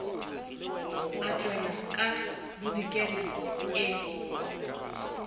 e tšwela ka bodikela e